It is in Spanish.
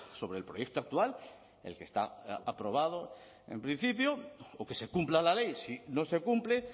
sobre el proyecto actual el que está aprobado en principio o que se cumpla la ley si no se cumple